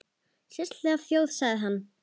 Sérstæð þjóð sagði hann.